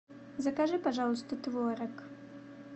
закажи пожалуйста творог